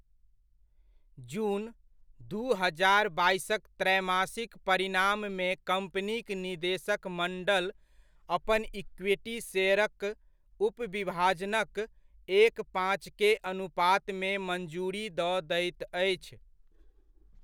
जून, दू हजार बाइसक त्रैमासिक परिणाम मे कम्पनीक निदेशक मण्डल अपन इक्विटी शेयरक उप विभाजनक एक पाँच के अनुपातमे मञ्जुरी दऽ दैत अछि।